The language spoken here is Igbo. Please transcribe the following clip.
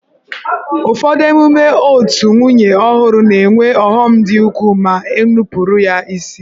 Ụfọdụ emume otù nwunye ọhụrụ na-enwe ọghọm dị ukwuu ma e nupụrụ ya isi.